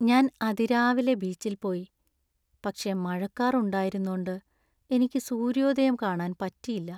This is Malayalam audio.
ഞാൻ അതിരാവിലെത്തന്നെ ബീച്ചിൽ പോയി, പക്ഷേ മഴക്കാർ ഉണ്ടായിരുന്നോണ്ട് എനിക്ക് സൂര്യോദയം കാണാൻ പറ്റിയില്ല .